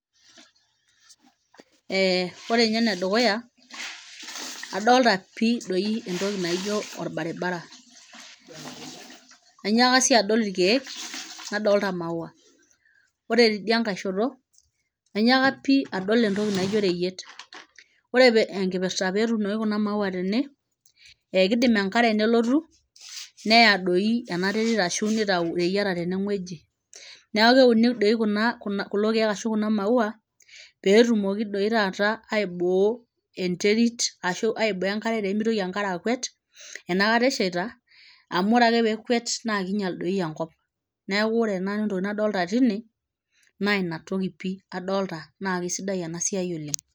Eh ore inye enedukuya adolta pii doi entoki naijo orbaribara ainyiaka sii adol ilkeek nadolta imaua ore tidia nkae shoto ainyiaka pii adol entoki naijo oreyiet ore pee enkipirrta petuunoki kuna maua tene ekidim enkare nelotu neya doi ena terit ashu nitau ireyieta teneng'ueji niaku keuni dei kuna kulo keek ashu kuna maua petumoki doi taata aiboo enterit ashu aiboo enkare pemitoki enkare akwet enakata eshaita amu ore ake pekwet naa kinyial doi enkop neeku ore nanu entoki nadolta tine naa inatoki pii adolta naa kisidai ena siai oleng.